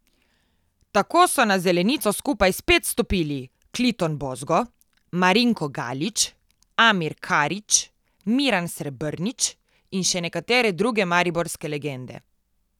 Tako so na zelenico skupaj spet stopili Kliton Bozgo, Marinko Galič, Amir Karič, Miran Srebrnič in še nekatere druge mariborske legende.